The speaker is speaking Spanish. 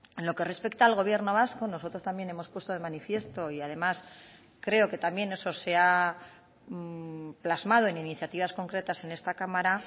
en lo que respecta al gobierno vasco nosotros también hemos puesto de manifiesto y además creo que también eso se ha plasmado en iniciativas concretas en esta cámara